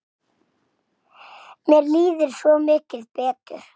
Mér líður svo mikið betur.